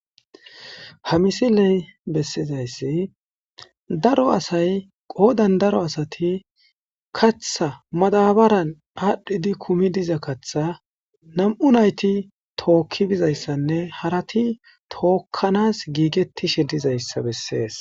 Ha misiley bessizayssi daro asay qoodan daro asati katha madabaran aadhdhidi kumi diza katha nam'u nayti tookki bizayssanne harati tookkanas giigettishe dizayssa bessees.